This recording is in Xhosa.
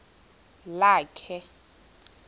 lakhe